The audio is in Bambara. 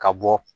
Ka bɔ